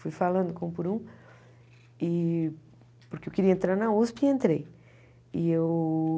Fui falando com um por um, e porque eu queria entrar na USP e entrei e eu.